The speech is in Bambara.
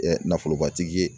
nafolobatigi ye